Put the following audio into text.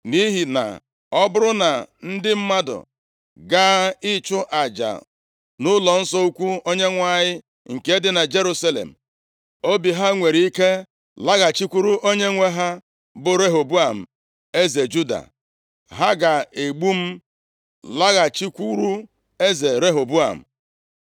Nʼihi na ọ bụrụ na ndị mmadụ gaa ịchụ aja nʼụlọnsọ ukwu Onyenwe anyị nke dị na Jerusalem, obi ha nwere ike laghachikwuru onyenwe ha, bụ Rehoboam eze Juda. Ha ga-egbu m, laghachikwuru eze Rehoboam.”